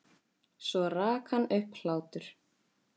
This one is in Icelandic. Svo rak hann upp hlátur.